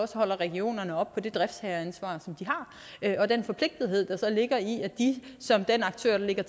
regionerne op på det driftsherreansvar som de har og den forpligtethed der så ligger i at de som den aktør der